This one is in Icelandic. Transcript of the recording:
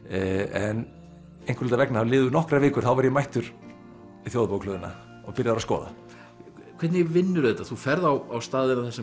en einhverra hluta vegna þá liðu nokkrar vikur þá var ég mættur í Þjóðarbókhlöðuna og byrjaður að skoða hvernig vinnurðu þetta þú ferð á staðina þar sem